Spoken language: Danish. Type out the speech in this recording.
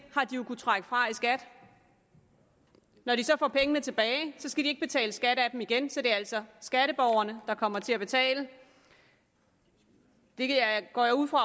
har de jo kunnet trække fra i skat når de så får pengene tilbage skal de ikke betale skat igen så det er altså skatteborgerne der kommer til at betale det går jeg ud fra